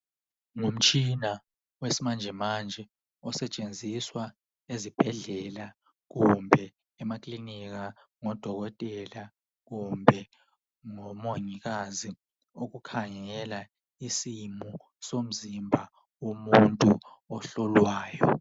Ngumtshina wesimanjemanje osetshenziswa ezibhedlela kumbe emaklinika ngodokotela kumbe ngomongikazi ukukhangela isimo somzimba womuntu ohlolwayo.